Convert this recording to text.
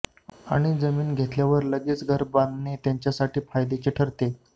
आणि जमीन घेतल्यावर लगेच घर बांधणे त्यांच्यासाठी फायद्याचे ठरते